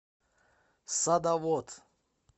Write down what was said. садовод